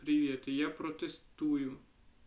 привет я протестую